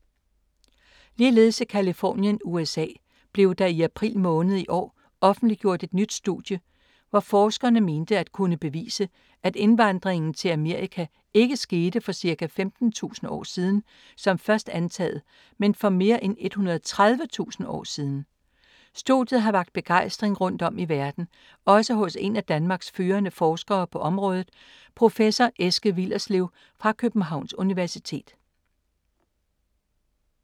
Ligeledes i Californien, USA, blev der i april måned i år, offentliggjort et nyt studie, hvor forskerne mente at kunne bevise, at indvandringen til Amerika ikke skete for ca. 15.000 år siden som først antaget, men for mere end 130.000 år siden. Studiet har vakt begejstring rundt om i verden, også hos en af Danmarks førende forskere på området professor Eske Willerslev fra Københavns Universitet.